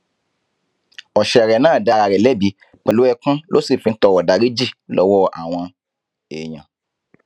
ọsẹrẹ náà dá ara rẹ lẹbi pẹlú ẹkún ló sì fi ń tọrọ ìdáríjì lọwọ àwọn èèyàn